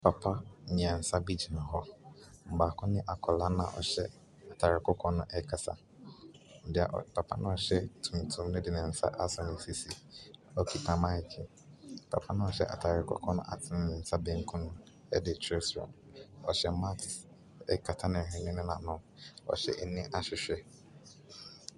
Papa mmiɛnsa bi gyina hɔ. Baako ne akɔla na ɔhyɛ atare kɔkɔɔ no ɛkasa. Papa na ɔhyɛ tuntum no de ne nsa asɔ ne sisi. Okita maek, papa na ɔhyɛ atare kɔkɔɔ no atene ne nsa benkum ɛde kyerɛ soro. Ɔhyɛ maks akata ne hwene ne n'ano. Ɔhyɛ ani ahwehwɛ.